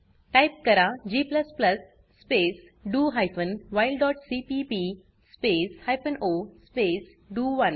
type करा g space DO hyphen while dot CPP space hyphen O space डीओ1